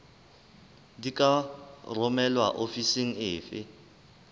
di ka romelwa ofising efe